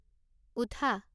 উঠা